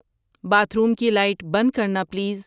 bath room کی light بند کرنا پلیز